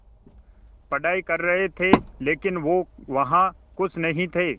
पढ़ाई कर रहे थे लेकिन वो वहां ख़ुश नहीं थे